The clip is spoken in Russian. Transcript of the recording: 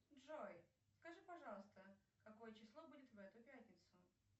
джой скажи пожалуйста какое число будет в эту пятницу